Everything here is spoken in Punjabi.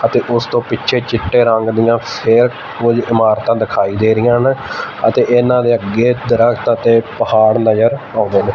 ਅਤੇ ਉਸ ਤੋਂ ਪਿੱਛੇ ਚਿੱਟੇ ਰੰਗ ਦੀਆਂ ਫਿਰ ਕੁਝ ਇਮਾਰਤਾਂ ਦਿਖਾਈ ਦੇ ਰਹੀਆਂ ਨੇ ਅਤੇ ਇਹਨਾਂ ਦੇ ਅੱਗੇ ਦਰਖਤ ਅਤੇ ਪਹਾੜ ਨਜ਼ਰ ਆਉਂਦੇ ਨੇ।